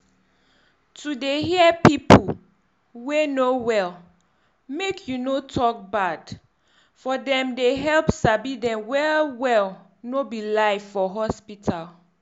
to dey hear pipu wey no um well make you no tok bad um for dem dey help sabi dem well well no be lie for hospital.